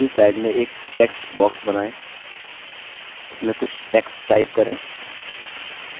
दूसरी स्लाइड में एक टेक्स्ट बॉक्स बनाए उसमें कुछ टेक्स्ट टाइप करें